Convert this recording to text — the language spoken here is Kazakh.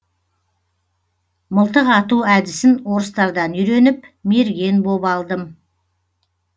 мылтық ату әдісін орыстардан үйреніп мерген боп алдым